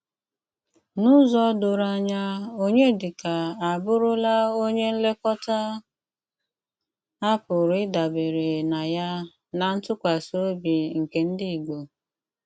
N'ụ̀zọ dòrò ányà, Ọnyédíkà abùrùlá ónyè nlékòtà à pú́rụ ídàbérè ná yá ná ntùkwásí òbí nké ndí Ìgbò.